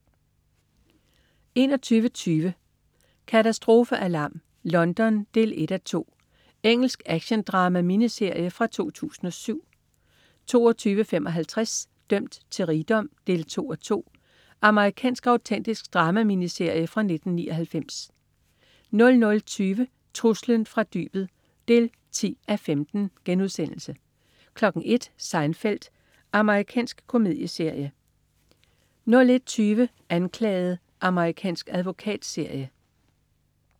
21.20 Katastrofealarm: London 1:2. Engelsk actiondrama-miniserie fra 2007 22.55 Dømt til rigdom 2:2. Amerikansk autentisk drama-miniserie fra 1999 00.20 Truslen fra fra dybet 10:15* 01.00 Seinfeld. Amerikansk komedieserie 01.20 Anklaget. Amerikansk advokatserie